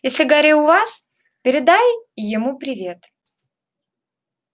если гарри у вас передай ему привет